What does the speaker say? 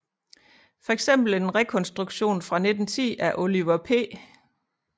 For eksempel en rekonstruktion fra 1910 af Oliver P